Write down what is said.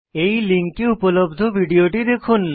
এই লিঙ্কে উপলব্ধ ভিডিওটি দেখুন